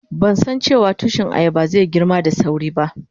Ban san dace wa tushi ayaban zai yi girma da sawri ba.